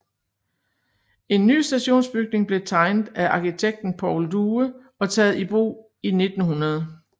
En ny stationsbygning blev tegnet af arkitekten Paul Due og taget i brug i 1900